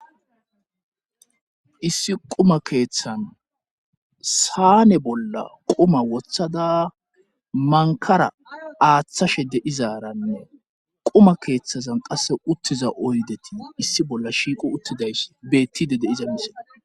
Issi quma keeththan saane bolla quma wothada mankara aaththashe deizaranne quma keeththazan qasse uttiza oydetii issi bolla shiiqo uttidayss beettide deiza misile.